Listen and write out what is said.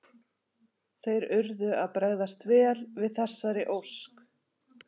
Þeir urðu að bregðast vel við þessari ósk.